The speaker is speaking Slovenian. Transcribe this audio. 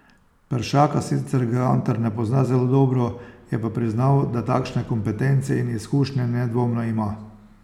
Peršaka sicer Gantar ne pozna zelo dobro, je pa priznal, da takšne kompetence in izkušnje nedvomno ima.